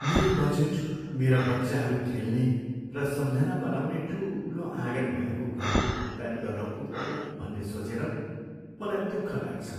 मेरो बजेट मेरा बच्चाहरू खेल्ने र सम्झना बनाउने ठुलो आँगन भएको घरको भुक्तानी गर्न पुग्दैन भन्ने सोचेर मलाई दुःख लाग्छ।